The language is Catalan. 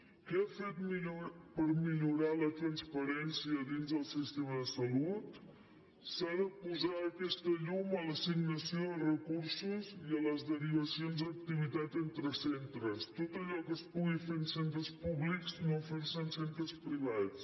què ha fet per millorar la transparència dins el sistema de salut s’ha de posar aquesta llum a l’assignació de recursos i a les derivacions d’activitat entre centres tot allò que es pugui fer en centres públics no fer ho en centres privats